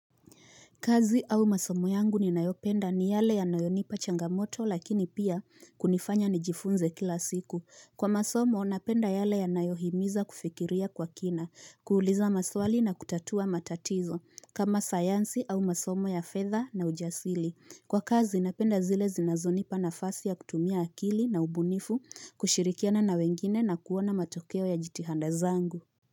Kazi au masomo yangu ni nayopenda ni yale ya nayonipa changamoto lakini pia kunifanya ni jifunze kila siku. Kwa masomo napenda yale ya nayohimiza kufikiria kwa kina, kuuliza maswali na kutatua matatizo, kama sayansi au masomo ya fedha na ujasili. Kwa kazi napenda zile zinazonipa na fasi ya kutumia akili na ubunifu kushirikiana na wengine na kuona matokeo ya jitihanda zangu.